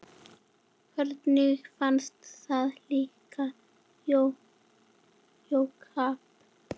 Henni fannst það líkt Jakob.